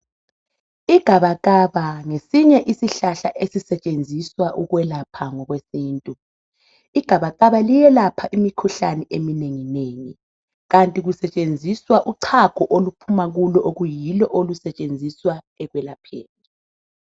Igabakaba ngesinye isihlahla esisetshenziswa ukwelapha ngokwesintu igabakaba liyelapha imikhuhlane eminengi nengi kanti kusetshenziswa uchago oluphuma kulo okuyilo olusetshenziswa ekwelapheni.